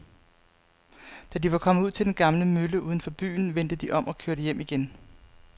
Da de var kommet ud til den gamle mølle uden for byen, vendte de om og kørte hjem igen.